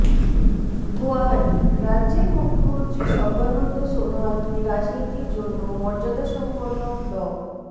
গুয়াহাটিঃ রাজ্যের মুখ্যমন্ত্ৰী সর্বানন্দ সোনোয়ালকে রাজনীতির জন্য মর্যাদাসম্পন্ন ড